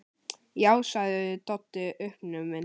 Já, sagði Doddi uppnuminn.